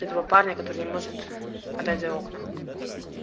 этого парня который не может отдать за окна